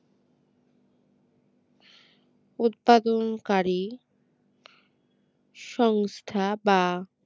উৎপাদনকারী সংস্থা বা